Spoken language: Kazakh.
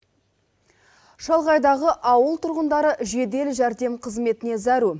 шалғайдағы ауыл тұрғындары жеделжәрдем қызметіне зәру